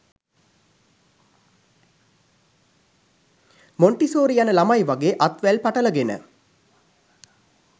Montessori යන ළමයි වගේ අත් වැල් පටලගෙන